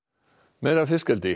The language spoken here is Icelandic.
meira af fiskeldi